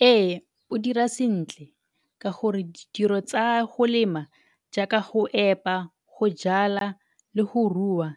Ee, o dira sentle ka gore ditiro tsa go lema jaaka go epa, go jala le go rua